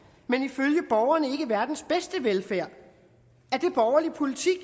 men ifølge borgerne ikke verdens bedste velfærd er det borgerlig politik